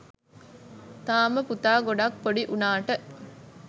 තාම පුතා ගොඩක් ‍පොඩි වුණාට